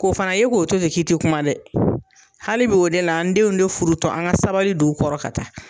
K'o fɛnɛ ye k'o to ten k'i ti kuma dɛ hali bi o de la an denw de furu tɔ an ga sabali don u kɔrɔ ka taa